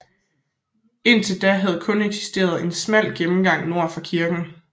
Indtil da havde der kun eksisteret en smal gennemgang nord for kirken